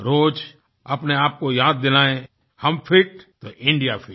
रोज़ अपने आप को याद दिलाएँ हम फिट तो इंडिया फिट